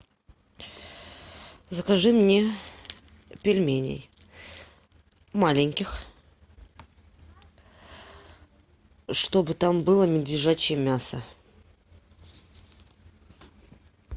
закажи мне пельменей маленьких чтобы там было медвежачье мясо